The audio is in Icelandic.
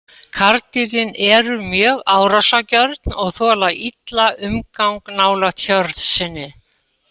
Karldýrin eru mjög árásargjörn og þola illa umgang nálægt hjörð sinni.